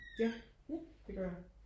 ja det gør jeg